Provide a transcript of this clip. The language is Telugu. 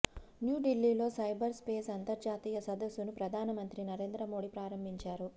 న్యూఢిల్లీలో సైబర్ స్పేస్ అంతర్జాతీయ సదస్సును ప్రధాన మంత్రి నరేంద్ర మోదీ ప్రారంభించారు